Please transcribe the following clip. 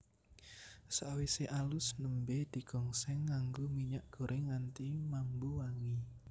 Sakwise alus nembé digongsèng nganggo minyak gorèng nganti mambu wangi